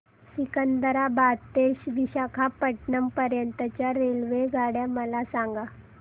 सिकंदराबाद ते विशाखापट्टणम पर्यंत च्या रेल्वे मला सांगा